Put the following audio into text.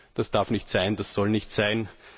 Das darf nicht sein, das soll nicht sein!